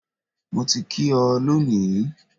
Mo ti kí ọ lónìí.